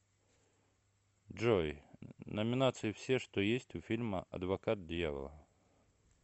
джой номинации все что есть у фильма адвокат дьявола